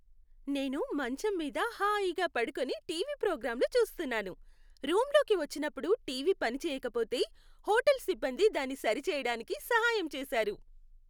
నేను మంచం మీద హాయిగా పడుకొని టీవీ ప్రోగ్రాంలు చూస్తున్నాను. రూంలోకి వచ్చినప్పుడు టీవీ పని చేయకపోతే, హోటల్ సిబ్బంది దాన్ని సరిచేయడానికి సహాయం చేశారు.